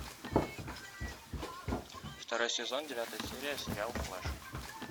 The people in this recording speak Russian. второй сезон девятая серия сериал флэш